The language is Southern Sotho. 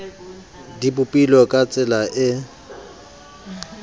di bopilwe ka tsela e